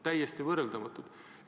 Täiesti võrreldamatud!